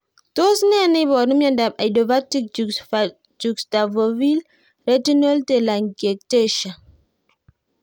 Tos nee neiparu miondop idiopathic juxtafoveal retinal telangiectasia?